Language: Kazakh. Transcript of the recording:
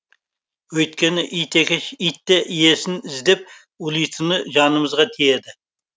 өйткені ит екеш итте иесін іздеп ұлитыны жанымызға тиеді